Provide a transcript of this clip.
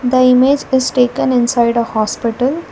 The image is taken inside a hospital.